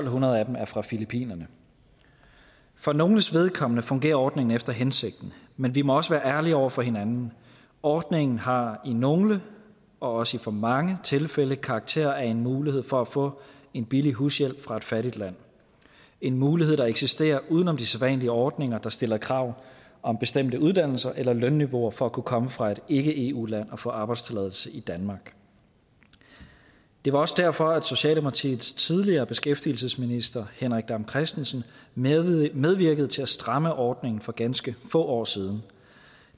hundrede af dem er fra filippinerne for nogles vedkommende fungerer ordningen efter hensigten men vi må også være ærlige over for hinanden ordningen har i nogle og også for mange tilfælde karakter af en mulighed for at få en billig hushjælp fra et fattigt land en mulighed der eksisterer uden om de sædvanlige ordninger der stiller krav om bestemte uddannelser eller lønniveauer for at kunne komme fra et ikke eu land og få arbejdstilladelse i danmark det var også derfor at socialdemokratiets tidligere beskæftigelsesminister henrik dam kristensen medvirkede til at stramme ordningen for ganske få år siden